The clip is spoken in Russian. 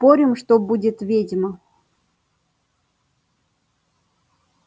спорим что будет ведьма